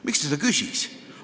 Miks ta seda küsis?